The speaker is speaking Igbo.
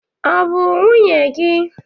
ọ bụ nwunye gị?